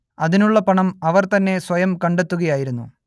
അതിനുള്ള പണം അവർ തന്നെ സ്വയം കണ്ടെത്തുകയായിരുന്നു